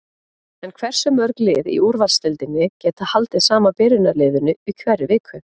En hversu mörg lið í úrvalsdeildinni geta haldið sama byrjunarliðinu í hverri viku?